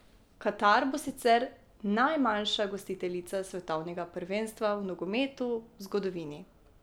Katar bo sicer najmanjša gostiteljica svetovnega prvenstva v nogometu v zgodovini.